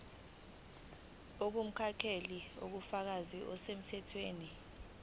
ongumnakekeli ubufakazi obusemthethweni